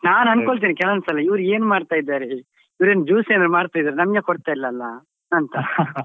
ನಾನ್ ಅಂದ್ಕೊಳ್ತೇನೆ ಕೆಲವೊಂದ್ ಸಲ ಇವ್ರು ಏನ್ ಮಾಡ್ತಾ ಇದ್ದಾರೆ ಇವ್ರೇನ್ juice ಏನಾದ್ರು ಮಾಡ್ತಾ ಇದ್ದಾರಾ ನಮ್ಗೆ ಕೊಡ್ತಾ ಇಲ್ಲ ಅಲ್ಲ ಅಂತ .